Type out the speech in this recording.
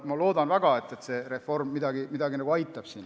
Ma loodan väga, et see reform aitab siin midagi.